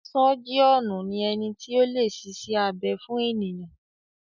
Sọ́jíọ̀nù ni ẹni tí o lè ṣiṣẹ́ abẹ fún ènìyàn.